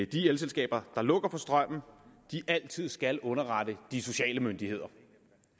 de elselskaber der lukker for strømmen altid skal underrette de sociale myndigheder